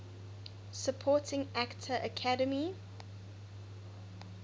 supporting actor academy